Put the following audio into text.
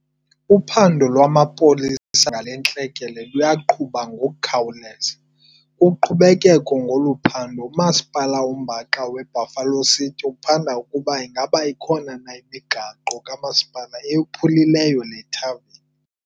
Uphando lwamapolisa ngale ntlekele luyaqhuba ngokukhawuleza. Kuqhubekeko ngolu phando, uMasipala oMbaxa waseBuffalo City uphanda ukuba ingaba ikhona na imigaqo kamasipala eyophulileyo le thaveni.